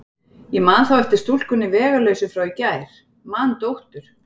En man þá eftir stúlkunni vegalausu frá í gær, man dóttur